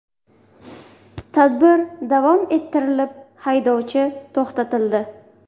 Tadbir davom ettirilib, haydovchi to‘xtatildi.